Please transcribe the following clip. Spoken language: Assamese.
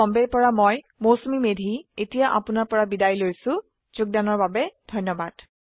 আই আই টী বম্বে ৰ পৰা মই মৌচুমী মেধী এতিয়া আপুনাৰ পৰা বিদায় লৈছো যোগদানৰ বাবে ধন্যবাদ